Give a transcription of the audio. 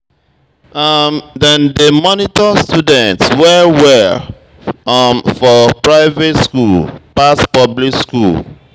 um Dem dey monitor students well-well for private skool um pass public skool.